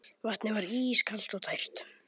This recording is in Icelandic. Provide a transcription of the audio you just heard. Vatnið var ískalt og tært.